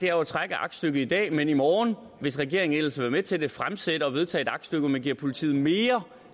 er jo at trække aktstykket i dag men i morgen hvis regeringen ellers vil være med til det fremsætte og vedtage et aktstykke hvor man giver politiet mere